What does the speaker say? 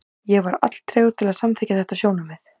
Ég var alltregur til að samþykkja þetta sjónarmið.